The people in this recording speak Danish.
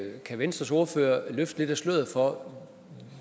kan venstres ordfører løfte lidt af sløret for